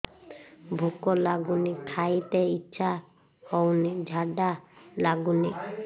ଭୁକ ଲାଗୁନି ଖାଇତେ ଇଛା ହଉନି ଝାଡ଼ା ଲାଗୁନି